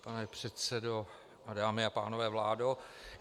Pane předsedo, dámy a pánové, vládo.